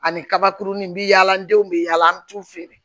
Ani kabakurunin bɛ yaala an denw bɛ yaala an bɛ t'u feere